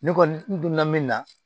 Ne kɔni n donna min na